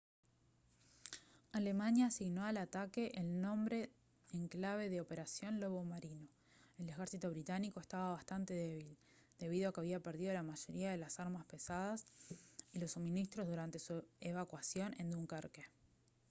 alemania asignó al ataque el nombre en clave de «operación lobo marino». el ejército británico estaba bastante débil debido a que había perdido la mayoría de las armas pesadas y los suministros durante su evacuación de dunkerque